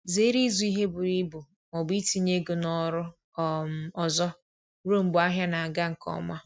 Zere ịzụ ihe buru ibu ma ọbụ itinye ego na oru um ọzọ ruo mgbe ahịa na aga nke ọma